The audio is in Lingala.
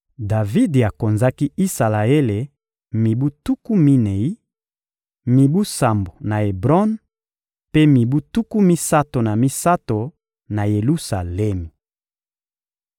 Davidi akonzaki Isalaele mibu tuku minei: mibu sambo na Ebron mpe mibu tuku misato na misato na Yelusalemi.